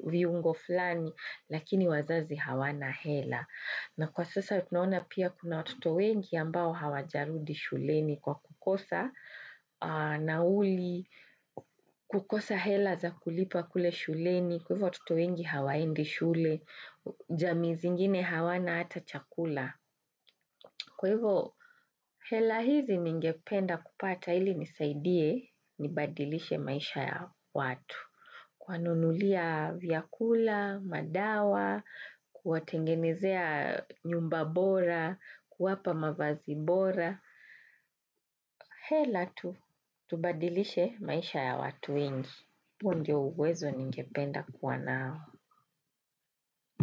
viungo fulani lakini wazazi hawana hela. Na kwa sasa tunaona pia kuna watoto wengi ambao hawajarudi shuleni kwa kukosa nauli, kukosa hela za kulipa kule shuleni, kwa hivyo watoto wengi hawaendi shule, jamii zingine hawana hata chakula. Kwa hivo hela hizi ningependa kupata ili nisaidie, nibadilishe maisha ya watu. Kuwanunulia vyakula, madawa, kuwatengenezea nyumba bora, kuwapa mavazi bora hela tu, tubadilishe maisha ya watu wengi. Huu ndio uwezo ningependa kuwa nao.